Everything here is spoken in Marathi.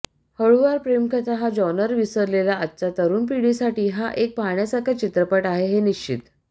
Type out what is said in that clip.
हळुवार प्रेमकथा हा जॉनर विसरलेल्या आजच्या तरुण पिढीसाठी हा एक पाहण्यासारखा चित्रपट आहे हे निश्चित